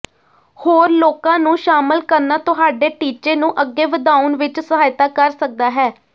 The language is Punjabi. ਹੋਰ ਲੋਕਾਂ ਨੂੰ ਸ਼ਾਮਲ ਕਰਨਾ ਤੁਹਾਡੇ ਟੀਚੇ ਨੂੰ ਅੱਗੇ ਵਧਾਉਣ ਵਿੱਚ ਸਹਾਇਤਾ ਕਰ ਸਕਦਾ ਹੈ